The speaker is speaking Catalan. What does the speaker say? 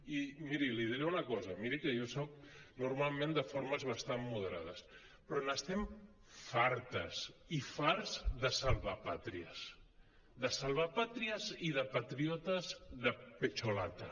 i miri li diré una cosa miri que jo soc normalment de formes bastant moderades però n’estem fartes i farts de salvapàtries de salvapàtries i de patriotes de pecho lata